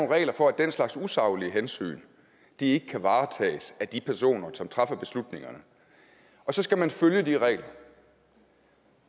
regler for at den slags usaglige hensyn ikke kan varetages af de personer som træffer beslutningerne og så skal man følge de regler